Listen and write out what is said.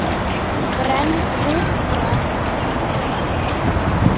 Brennd úmbra er hituð úmbra.